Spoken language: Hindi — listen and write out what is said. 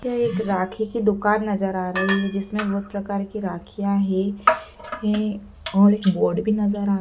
यह एक राखी की दुकान नज़र आ रही है जिसमें बहुत प्रकार की राखियाँ हैं हैं और बोर्ड भी नज़र आ --